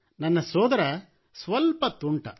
ನನ್ನ ಸೋದರ ಸ್ವಲ್ಪ ತುಂಟ